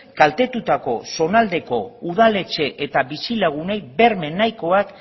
kaltetutako zonaldeko udaletxe eta bizilagunei berme nahikoak